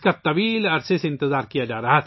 اس کا کافی عرصے سے انتظار تھا